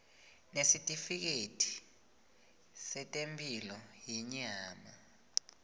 nesitifiketi setemphilo yenyama